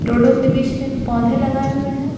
डोड़ों के बीच में पौधे लगाए हैं।